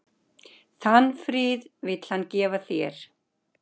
Þann frið vill hann gefa þér.